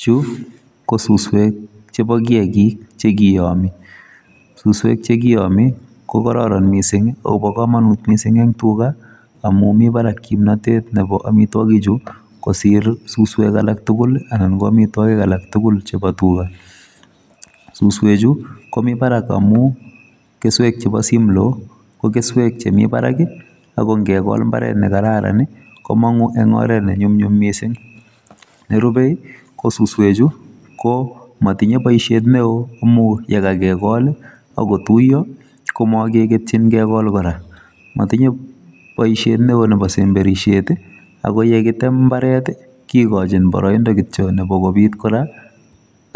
Chu, ko suswek chebo kiyagik, che kiyami. Suswek che kiyami, ko kararan missing, akobo komonut missing eng' tuga, amu mi barak kimnatet nebo amitwogik chu, kosir suswek alak tugul, anan ko amitwogik alak tugul chebo tuga. Suswek chu, komi barak amu, keswek chebo simlo, ko keswek che mi barak, ago ngegol mbaret ne kararan, komong'u eng' oret ne nyumnyum missing. Nerube, ko suswek chu, ko matinye boisiet neoo amu yekakegol akotuyo, ko makekektchin kegol kora. Matinye boisiet neoo nebo semberishiet, ago yekitem mbaret, kikochin boroindo kityo nebo kobit kora,